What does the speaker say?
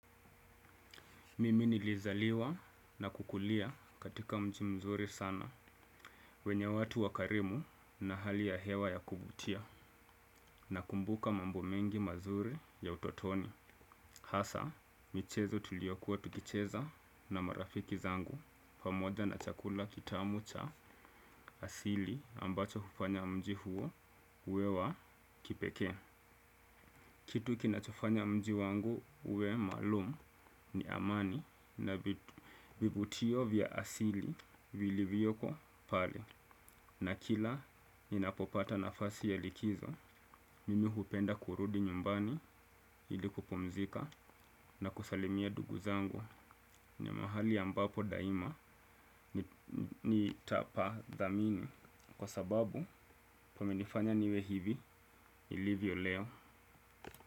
Mimi nilizaliwa na kukulia katika mji mzuri sana wenya watu wakarimu na hali ya hewa ya kuvutia. Nakumbuka mambo mengi mazuri ya utotoni. Hasaa, michezo tuliokuwa tukicheza na marafiki zangu pamoja na chakula kitamu cha asili ambacho hupanya mji huo uwe wa kipekee. Kitu kinachofanya mji wangu uwe maalumu ni amani na vivutio vya asili vilivyoko pale. Na kila ninapopata nafasi ya likizo, mimi hupenda kurudi nyumbani ili kupumzika na kusalimia ndugu zangu. Ni mahali ambapo daima nitapadhamini kwa sababu pamenifanya niwe hivi nilivyo leo.